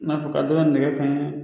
I n'a fɔ ka dɔ la nɛgɛ kanɲɛ